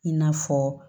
I n'a fɔ